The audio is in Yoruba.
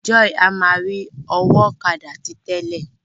Joy a má ri ọwọ ọ̀kadà ti tẹlẹ.